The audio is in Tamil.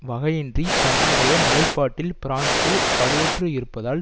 வகையின்றி தன்னுடைய நிலைப்பாட்டில் பிரான்ஸ் வலுவற்று இருப்பதால்